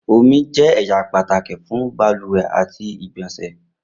Omi jẹ ẹya pataki fun baluwe ati igbonse.